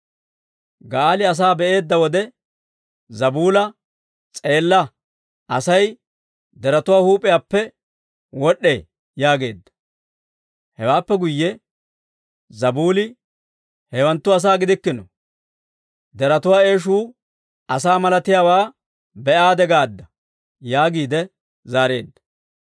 Ga'aali asaa be'eedda wode Zabuula, «S'eella! Asay deretuwaa huup'iyaappe wod'd'ee» yaageedda. Hewaappe guyye Zabuuli, «Hewanttu asaa gidikkino; deretuwaa eeshuu asaa malatiyaawaa be'aade gaadda» yaagiide zaareedda.